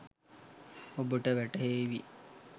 ඔබට වැටහේවි